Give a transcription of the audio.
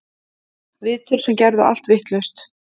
Viðtöl sem gerðu allt vitlaust